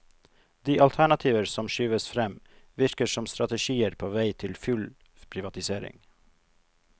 De alternativer som skyves frem, virker som strategier på vei til full privatisering.